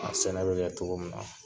A sɛnɛ bɛ kɛ cogo min na.